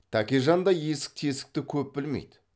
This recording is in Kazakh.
тәкежан да есік тесікті көп білмейді